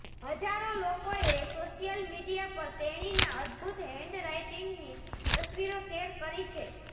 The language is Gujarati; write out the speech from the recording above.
હજારો લોકોએ સોશિયલ મિડિયા પર તેણીના અદ્ભુત હેન્ડરાઇટીંગની તસ્વીરો શેર કરી છે